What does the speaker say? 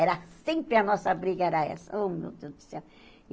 Era sempre a nossa briga, era essa. Ô meu Deus do céu